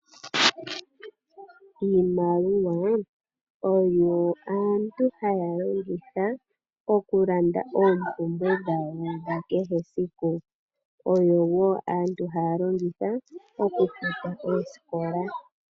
Iimaliwa ohayi longithwa kaantu okulanda oompumbwe dhawo dha kehe esiku oyo woo aantu haa longitha okufuta oosikola.